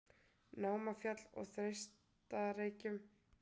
Námafjall og á Þeistareykjum.